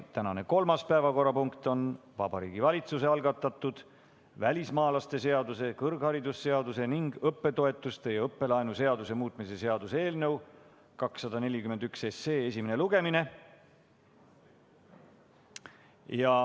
Tänane kolmas päevakorrapunkt on Vabariigi Valitsuse algatatud välismaalaste seaduse, kõrgharidusseaduse ning õppetoetuste ja õppelaenu seaduse muutmise seaduse eelnõu 241 esimene lugemine.